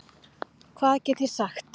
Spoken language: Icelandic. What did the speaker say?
Hvað get ég sagt?